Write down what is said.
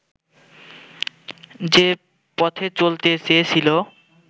যে-পথে চলতে চেয়েছিলো